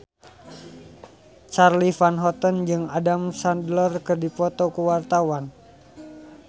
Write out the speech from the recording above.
Charly Van Houten jeung Adam Sandler keur dipoto ku wartawan